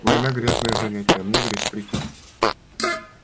война грязное занятие а мне грязь претит